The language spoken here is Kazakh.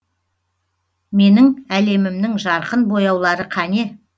менің әлемімнің жарқын бояулары қане